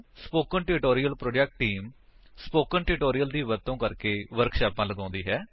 spoken tutorial project team spoken tutorial ਦੀ ਵਰਤੋ ਕਰਕੇ ਵਰਕਸ਼ਾਪਾਂ ਲਗਾਉਂਦੀ ਹੈ